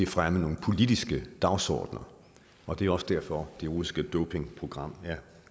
fremme nogle politiske dagsordener og det er også derfor at det russiske dopingprogram er